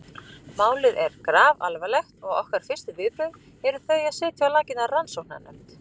Málið er grafalvarlegt og okkar fyrstu viðbrögð eru þau að setja á laggirnar rannsóknarnefnd.